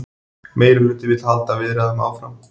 Meirihluti vill halda viðræðum áfram